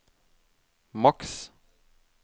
maks